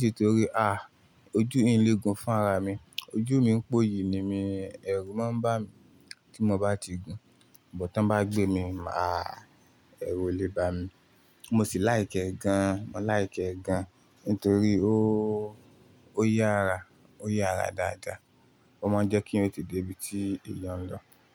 Nítorí à, ojú mi légun fún ara mi. Ojú mi ń pòyì ni mí, ẹ̀rù máa ń bà mí tí mo bá ti gun. But tan bá gbé mi, máa ẹ̀rù lè bà mí. Mo sì like ẹ gan, mo like ẹ gan nítorí ó, ó yára, ó yára dáadáa. Ó máa ń jẹ́ kí èyàn lè dé ibi tí èèyàn ń lọ.